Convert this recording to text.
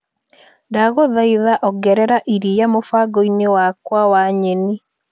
Ndagũthaitha ongerera iria mũbango-inĩ wakwa wa nyeni.